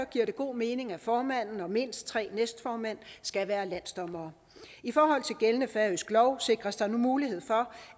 giver det god mening at formanden og mindst tre næstformænd skal være landsdommere i forhold til gældende færøsk lov sikres der nu mulighed for